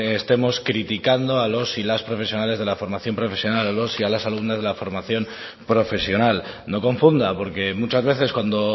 estemos criticando a los y las profesionales de la formación profesional a los y las alumnas de la formación profesional no confunda porque muchas veces cuando